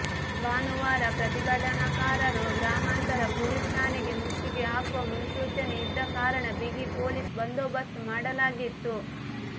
ಭಾನುವಾರ ಪ್ರತಿಭಟನಾಕಾರರು ಗ್ರಾಮಾಂತರ ಪೊಲೀಸ್ ಠಾಣೆಗೆ ಮುತ್ತಿಗೆ ಹಾಕುವ ಮುನ್ಸೂಚನೆ ಇದ್ದ ಕಾರಣ ಬಿಗಿ ಪೊಲೀಸ್ ಬಂದೋಬಸ್ತ್ ಮಾಡಲಾಗಿತ್ತು